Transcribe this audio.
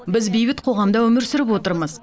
біз бейбіт қоғамда өмір сүріп отырмыз